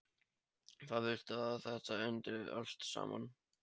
Hvar viltu að þetta endi allt saman?